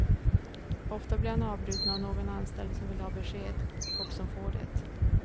Ofta blir han avbruten av någon anställd som vill ha besked, och som får det.